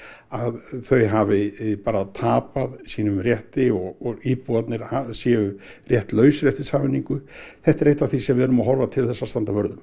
að þau hafi bara tapað sínum rétti og íbúarnir séu réttlausir eftir sameiningu þetta er eitt af því sem við erum að horfa til þess að standa vörð um